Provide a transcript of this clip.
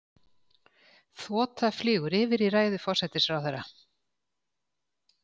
Þota flýgur yfir í ræðu forsætisráðherra.